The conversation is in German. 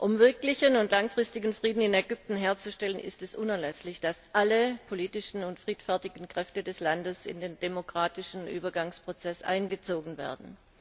Um wirklichen und langfristigen Frieden in Ägypten herzustellen, ist es unerlässlich, dass alle politischen und friedfertigen Kräfte des Landes in den demokratischen Übergangsprozess einbezogen werden.